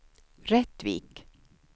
Rättvik